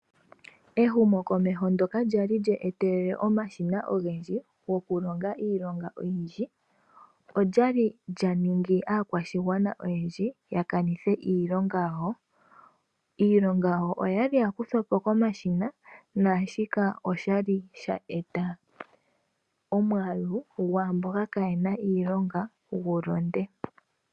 Ehumokomeho ndoka lya li lya etelele omashina ogendji go ku longa iilonga oyindji, olya li lya ningi aakwashigwana oyendji ya kanithe iilonga yawo. Iilonga oya li ya kuthwa po komashina, naashika osha li sha eta omwaalu gwaamboka kaye na iilonga gu londe.